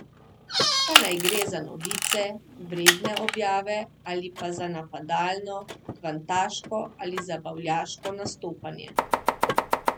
Pa naj gre za novice, vredne objave, ali pa za napadalno, kvantaško ali zabavljaško nastopanje.